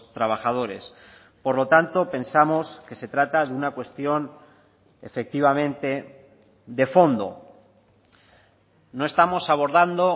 trabajadores por lo tanto pensamos que se trata de una cuestión efectivamente de fondo no estamos abordando